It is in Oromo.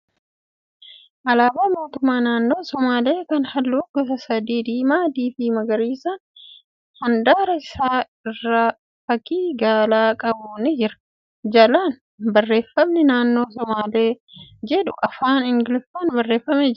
Alaabaa mootummaa naannoo sumaalee kan halluu gosa sadii ( diimaa, adii fi magariisni handaara isaa irraa fakkii gaalaa qabu ni jira. Jalaan barreeffamni ' Naannoo Somaalee' jedhu afaan Ingiliffaan barreeffamee jira.